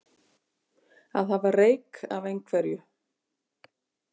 Að hafa reyk af einhverju